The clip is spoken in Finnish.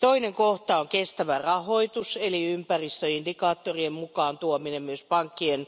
Toinen kohta on kestävä rahoitus eli ympäristöindikaattorien mukaan tuominen myös pankkien